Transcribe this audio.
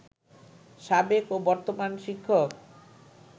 সাবেক ও বর্তমান শিক্ষক